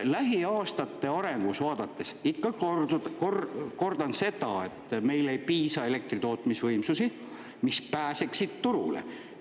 Lähiaastate arengut vaadates ikka kordan seda, et meil ei piisa elektritootmisvõimsusi, mis pääseksid turule.